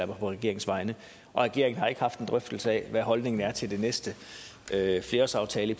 mig på regeringens vegne og regeringen har ikke haft en drøftelse af hvad holdningen er til den næste flerårsaftale